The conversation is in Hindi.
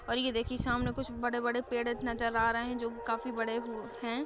और ये देखिये सामने कुछ बड़े-बड़े पेड़ नजर आ रहे हैं जो कि काफी बड़े हु हैं।